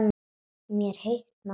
Mér hitnar.